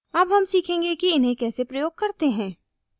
अब हम सीखेंगे कि इन्हें कैसे प्रयोग करते हैं